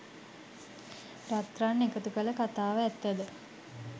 රත්රන් එකතු කළ කතාව ඇත්ත ද?